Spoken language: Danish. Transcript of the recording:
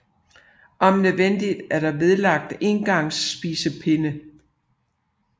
Om nødvendigt er der vedlagt engangs spisepinde